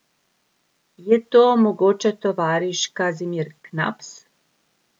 Je to mogoče tovariš Kazimir Knaps?